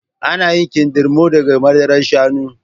Ana yin kindirmo daga madarar shanu